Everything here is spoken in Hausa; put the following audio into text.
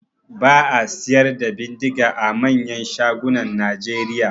Ba a siyar da bindiga a manyan shagunan Nigeria.